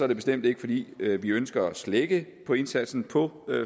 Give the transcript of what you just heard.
det bestemt ikke fordi vi ønsker at slække på indsatsen på